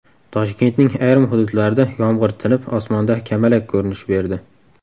Toshkentning ayrim hududlarida yomg‘ir tinib, osmonda kamalak ko‘rinish berdi.